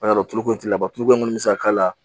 A y'a dɔn tuloko t'i la tuloko min bɛ se ka k'a la